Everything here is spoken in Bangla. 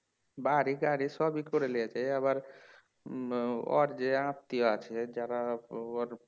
বাড়ি গাড়ি সবই করে লিয়েছে আবার আহ ওর যে আত্মীয় আছে যারা ওর